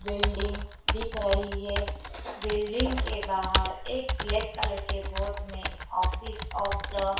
building दिख रही है बिल्डिंग के बाहर एक ब्लैक कलर के बोर्ड में ऑफिस ऑफ द --